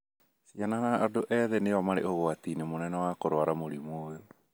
Ciana na andũ ethĩ nĩo marĩ ũgwati-inĩ mũnene wa kũrũara mũrimũ ũyũ.